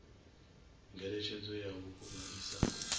ngeletshedzo ya vhukuma i sa